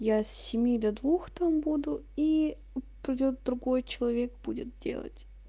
я с семи до двух там буду и придёт другой человек будет делать